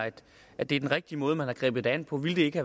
at det er den rigtige måde man har grebet det an på ville det ikke